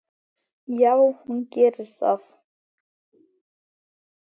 Já, hún gerir það.